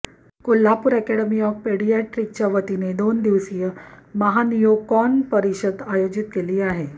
Kolhapur academy of पेडियाट्रिकच्यावतीने दोनदिवसीय महानिओकॉन परिषद आयोजित केली आहे